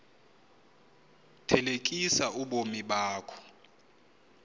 thelekisa ubomi bakho